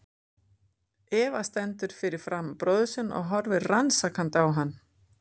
Eva stendur fyrir framan bróður sinn og horfir rannsakandi á hann.